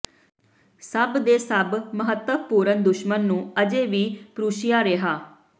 ਸਭ ਦੇ ਸਭ ਮਹੱਤਵਪੂਰਨ ਦੁਸ਼ਮਣ ਨੂੰ ਅਜੇ ਵੀ ਪਰੂਸ਼ੀਆ ਰਿਹਾ